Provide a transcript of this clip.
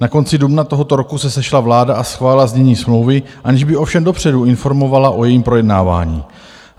Na konci dubna tohoto roku se sešla vláda a schválila znění smlouvy, aniž by ovšem dopředu informovala o jejím projednávání.